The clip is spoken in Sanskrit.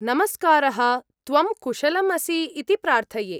नमस्कारः, त्वं कुशलम् असि इति प्रार्थये।